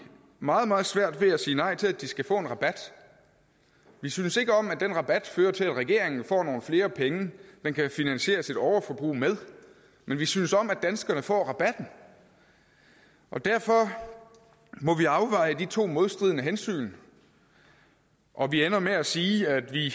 meget meget svært ved at sige nej til at de skal få en rabat vi synes ikke om at den rabat fører til at regeringen får nogle flere penge den kan finansieres sit overforbrug med men vi synes om at danskerne får rabatten derfor må vi afveje de to modstridende hensyn og vi ender med at sige at vi